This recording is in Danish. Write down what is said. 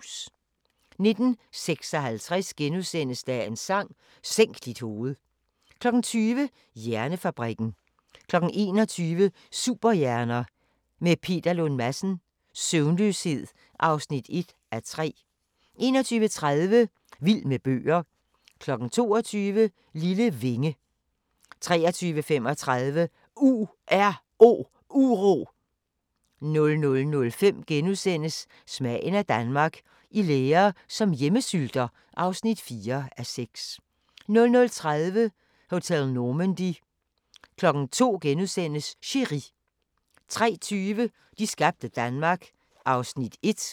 19:56: Dagens Sang: Sænk dit hoved * 20:00: Hjernefabrikken 21:00: Superhjerner – med Peter Lund Madsen: Søvnløshed (1:3) 21:30: Vild med bøger 22:00: Lille vinge 23:35: URO 00:05: Smagen af Danmark – I lære som hjemmesylter (4:6)* 00:30: Hotel Normandy 02:00: Chéri * 03:20: De skabte Danmark (1:4)